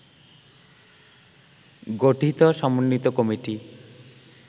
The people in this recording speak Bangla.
গঠিত সমন্বিত কমিটি